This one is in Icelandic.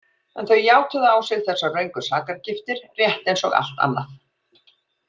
En þau játuðu á sig þessar röngu sakargiftir, rétt eins og allt annað.